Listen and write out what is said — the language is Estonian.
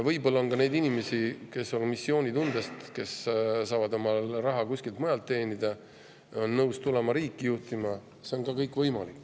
Võib-olla on ka inimesi, kes saavad raha kuskilt mujalt teenida ja on missioonitundest nõus tulema riiki juhtima – see on ka võimalik.